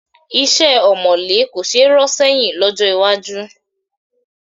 Iṣẹ́ ọ̀mọ̀lé kò ṣe é rọ́ sẹ́yìn lọ́jọ́ iwájú